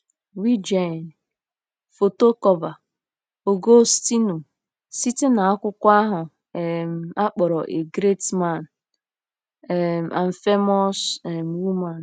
rigen: Foto Cọọva; Ọgọstinu: Site na akwụkwọ ahụ um a kpọrọ Great Men um and Famous um Women.